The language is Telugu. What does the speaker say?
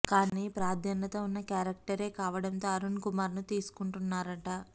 కానీ ప్రాధాన్యత వున్న క్యారెక్టరే కావడంతో అరుణ్ కుమార్ ను తీసుకుంటున్నారట